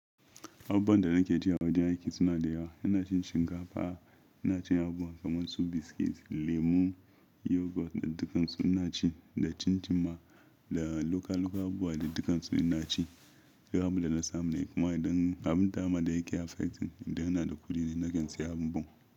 Abubuwan da nake ci a wajen aiki suna da yawa. Ina cin shinkafa, ina cin abu kamar su biscuits, lemu, yoghurt da dukkansu ina ci da cincin ma da loka-loka abuwa da dukkansu ina ci. Duk abinda na samu ne kuma idan abun dama da yake affecting idan ina da kuɗi ne nake siya abin abun.